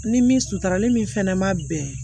Ni min suturali min fɛnɛ ma bɛn